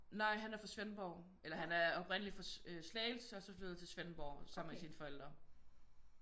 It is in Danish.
Nej han er fra Svendborg eller han er oprindeligt fra Slagelse og så flyttet til Svendborg sammen med sine forældre